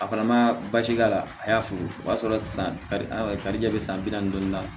A fana ma basi k'a la a y'a fo o y'a sɔrɔ san karikɛ bɛ san bi naani dɔɔnin